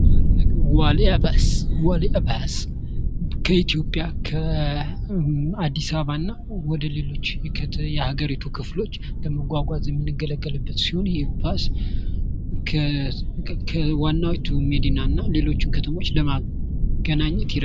ብስክሌቶች ለአጭር ርቀት ጤናማና ለአካባቢ ተስማሚ መጓጓዣ ናቸው። ሞተር ሳይክሎች ደግሞ ፈጣንና ተንቀሳቃሽ ናቸው።